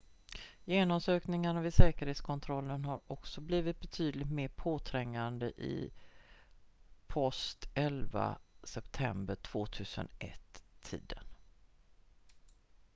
genomsökningar vid säkerhetskontroller har också blivit betydligt mer påträngande i post-11 september 2001-tiden